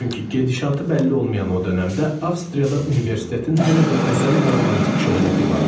Çünki gedişatı bəlli olmayan o dönəmdə Avstriyada universitetin hələ də özəl və romantik şöhrəti vardı.